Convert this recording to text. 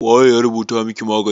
waye ya rubuta maki magani?